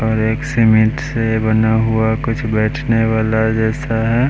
और एक सीमेंट से बना हुआ कुछ बैठने वाला जैसा है।